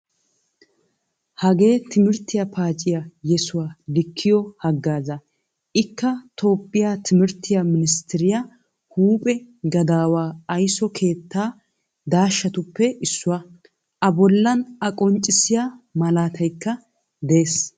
Hagee timirttiya paaciyaa yesuwaa likkiyo hagaaza. Ikka toophphiyaa timirttiya ministtariyaa huuphphee gadawaa aysso keetta dashatuppe issuwaa. Abollan a qonccissiyaa malaataykka de"ees.